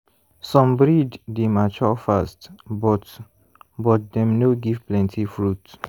some breed dey mature fast but but dem no give plenty fruit.